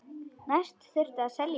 Næst þurfti að selja bílinn.